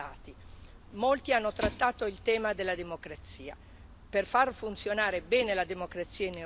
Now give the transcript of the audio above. Per far funzionare bene la democrazia in Europa occorre che si arrivi pienamente alla codecisione.